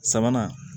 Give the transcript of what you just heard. Sabanan